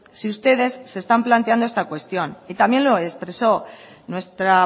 si ustedes se están planteando esta cuestión y también lo expresó nuestra